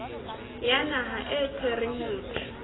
ya naha e tshwereng motho